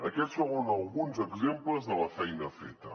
aquests són alguns exemples de la feina feta